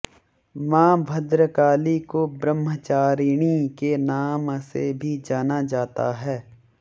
माँ भद्रकाली को ब्रह्मचारिणी के नाम से भी जाना जाता है